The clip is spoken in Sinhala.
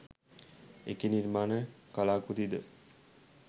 එකී නිර්මාණ කලාකෘති ද